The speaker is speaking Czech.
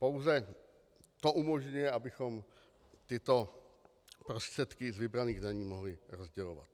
Pouze to umožňuje, abychom tyto prostředky z vybraných daní mohli rozdělovat.